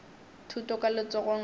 thuto ka letsogong la ka